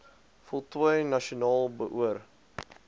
voltooi nasionaal beoor